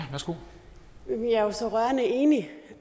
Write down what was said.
jeg er jo så rørende enig